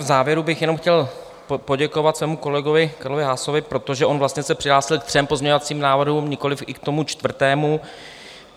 V závěru bych jenom chtěl poděkovat svému kolegovi Karlovi Haasovi, protože on vlastně se přihlásil ke třem pozměňovacím návrhům, nikoliv i k tomu čtvrtému.